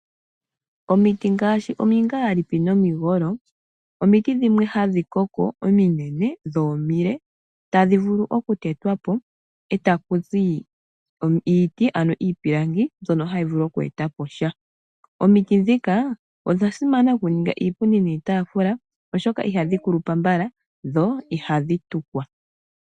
Omiti ngaashi omingaalipi nomigolo, omiti dhimwe hadhi koko ominene dho omile tadhi vulu okutetwa po e taku zi iiti, ano iipilangi mbyono hayi vulu oku eta po sha. Omiti ndhika odha simana okuninga iipundi niitaafula, oshoka ihadhi kulupa mbala dho ihadhi tukwa.